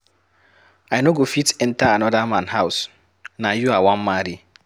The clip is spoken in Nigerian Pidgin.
I no go fit enter another man house, na you I wan marry.